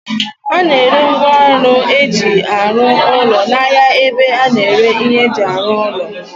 A na-ere ngwaọrụ eji arụ ụlọ n'ahia ebe a na-ere ihe eji arụ ụlọ